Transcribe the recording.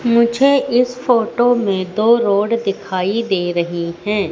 मुझे इस फोटो में दो रोड दिखाई दे रही हैं।